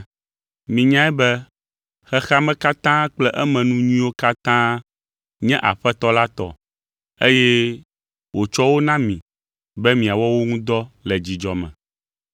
Minyae be xexea me katã kple emenu nyuiwo katã nye Aƒetɔ la tɔ eye wòtsɔ wo na mi be miawɔ wo ŋu dɔ le dzidzɔ me.